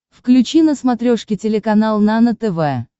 включи на смотрешке телеканал нано тв